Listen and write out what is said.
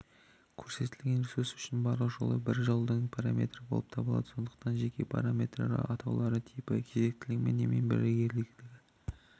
көрсетілген ресурс үшін барлық жолы бір жолдың параметрі болып табылады сондықтан жеке параметрлер атауларының типі кезектілігі немесе бірегейлігі